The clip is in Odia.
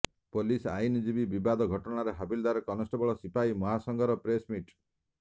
ପୋଲିସ ଆଇନଜୀବୀ ବିବାଦ ଘଟଣାରେ ହାବିଲଦାର କନେଷ୍ଟବଳ ସିପାହୀ ମହାସଂଘର ପ୍ରେସ ମିଟ୍